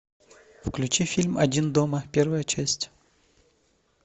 включи фильм один дома первая часть